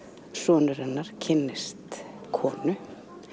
sonur hennar kynnist konu